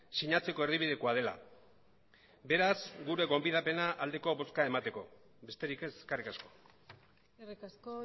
sinatzeko erdibidekoa dela beraz gure gonbidapena aldeko bozka emateko besterik ez eskerrik asko eskerrik asko